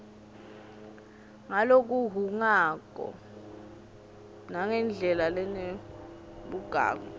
ngalokuhhungako nangendlela lenebugagu